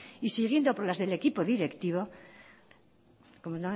y siguiendo por las del equipo directivo como